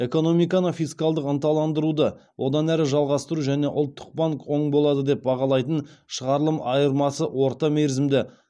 экономиканы фискалдық ынталандыруды одан әрі жалғастыру және ұлттық банк оң болады деп бағалайтын шығарылым айырмасы орта мерзімді